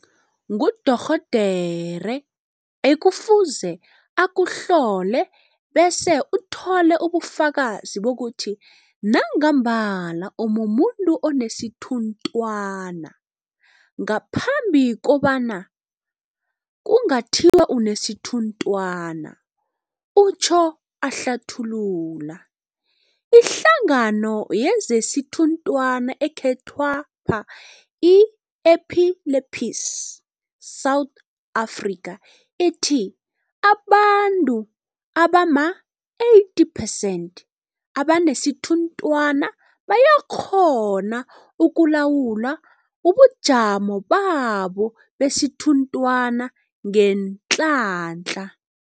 Ngudorhodere ekufuze akuhlole bese uthola ubufakazi bokuthi nangambala umumuntu onesithunthwana, ngaphambi kobana kungathiwa unesithunthwana, utjho ahlathulula. Ihlangano yezesithunthwana ekhethwapha, i-Epilepsy South Africa, ithi abantu abama-80 percent abanesithunthwana bayakghona ukulawula ubujamo babo besithunthwana ngeenhlahla.